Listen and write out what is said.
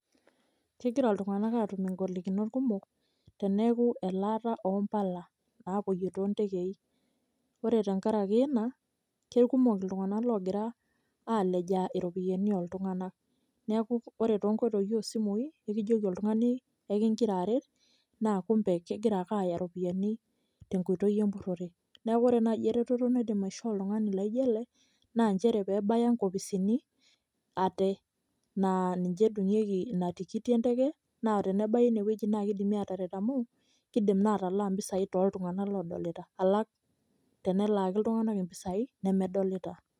keira iltunganak aatum ingolikinot kumok, teneeku elaata oo mpala naapuoyie too ntekei. ore tenkaraki ina keikumok iltunganak oogira alejaa iropiyiani ooltunganak, neeku ore too nkoitoi ooo simui naa ekijoki oltungani ekigira aret naa kumpe kegira ake aaya iropiyiani, tenkoitoi empurore. neeku ore naaji eretoto naidim aishoo oltungani laijo ele naa nchere pee ebaya, inkopisini ate, naa ninche etumieki ina tikiti enteke, na tenebaya ine wueji naa kidimi aataret amu, kidim na atalaa mpisai tooltunganak oodolita. alang tenelaaki iltunganak impisia nemedolita.